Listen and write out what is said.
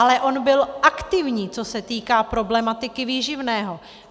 Ale on byl aktivní, co se týká problematiky výživného.